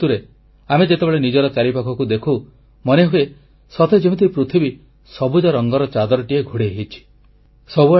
ଏହି ଋତୁରେ ଆମେ ଯେତେବେଳେ ନିଜର ଚାରିପାଖକୁ ଦେଖୁ ମନେହୁଏ ସତେଯେମିତି ପୃଥିବୀ ସବୁଜ ରଙ୍ଗର ଚାଦରଟିଏ ଘୋଡ଼େଇ ହୋଇଛି